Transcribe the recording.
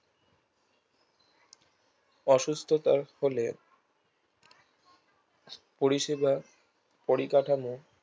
অসুস্থতার ফলে পরিসেবা পরিকাঠামো